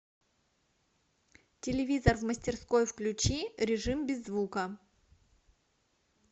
телевизор в мастерской включи режим без звука